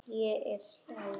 Ég er slæg.